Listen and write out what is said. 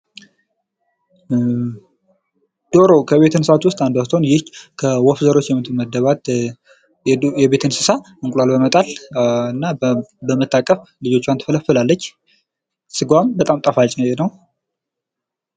ዶሮ ከቤት እንስሳ ውስጥ አንዷ ስትሆን ይህ ከወፍ ዘሮች የምትመደባት የቤት እንስሳ እንቁላል በመጣል እና በመታቀፍ ልጆቿን ትፈለፍላለች። ስጋዋም በጣም ጠፋጭ ነው።